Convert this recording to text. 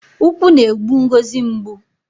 Ukwu na-egbu Ngozi mgbu